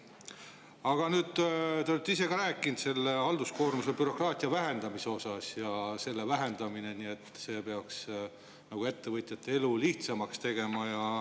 Aga nüüd, te olete ise ka rääkinud halduskoormuse bürokraatia vähendamisest ja öelnud, et selle vähendamine peaks ettevõtjate elu lihtsamaks tegema.